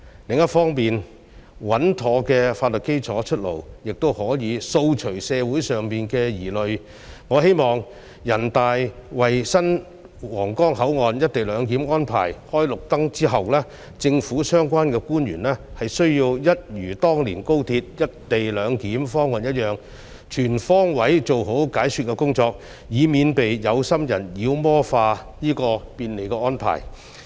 另一方面，穩妥的法律基礎出爐，也可以掃除社會上的疑慮，我希望人大為新皇崗口岸"一地兩檢"安排"開綠燈"後，政府的相關官員會一如當年推動高鐵"一地兩檢"方案一樣，全方位做好解說工作，以免被有心人妖魔化這便利的安排。